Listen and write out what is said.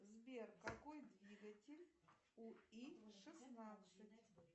сбер какой двигатель у и шестнадцать